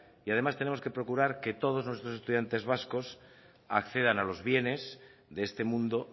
y además tenemos que procurar que todos nuestros estudiantes vascos accedan a los bienes de este mundo